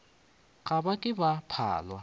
ga ba ke ba phalwa